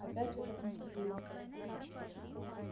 опять этот мистер линкольн